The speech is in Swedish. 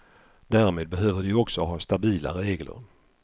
Därmed behöver de också ha stabila regler.